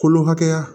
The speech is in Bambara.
Kolo hakɛya